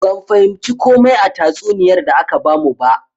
Ban fahimci komai a tatsuniyar da aka bamu ba.